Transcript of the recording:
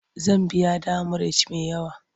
Zan biya demurej me yawa.